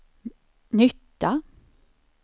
nytta